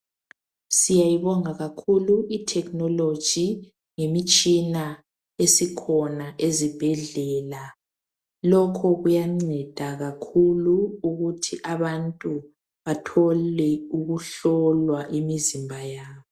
Siyayibonga kakhulu itechnology ngemitshina esikhona ezibhedlela. Lokhu kuyanceda kakhulu ukuthi abantu bathole ukuhlolwa imizimba yabo.